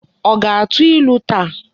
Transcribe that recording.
O ga-atu ilu taa?